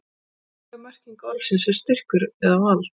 upprunaleg merking orðsins er styrkur eða vald